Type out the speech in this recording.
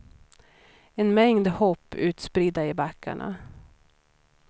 En mängd hopp utspridda i backarna.